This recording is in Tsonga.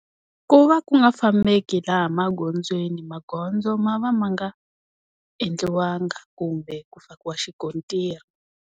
Ku va ku nga fambeki laha magondzweni. Magondzo ma va ma nga, endliwanga kumbe ku fakiwa xikontiri.